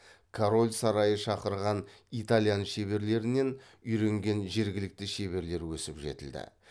король сарайы шақырған итальян шеберлерінен үйренген жергілікті шеберлер өсіп жетілді